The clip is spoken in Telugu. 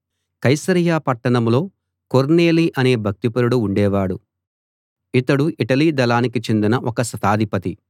కైసరయ పట్టణంలో కొర్నేలి అనే భక్తిపరుడు ఉండేవాడు ఇతడు ఇటలీ దళానికి చెందిన ఒక శతాధిపతి